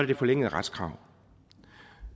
det forlængede retskrav